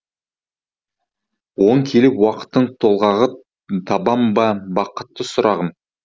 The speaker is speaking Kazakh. оң келіп уақыттың толғағы табам ба бақытты сұрағым